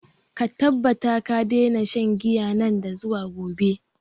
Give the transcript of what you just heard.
Ka tabbata ka daina shan giya nan da zuwa gobe!